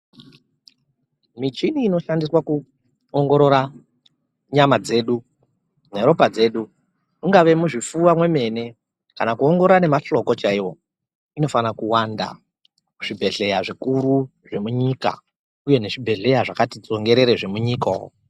Michini inoshandiswa kuongorora nyama dzedu neropa dzedu, ingave muzvipfuwa mwemene kana kuongorora nemahloko chaiwo, inofana kuwanda muzvibhedhleya zvikuru zvemunyika uye nezvibhedhleya zvakati tsongerere zvemunyika umu.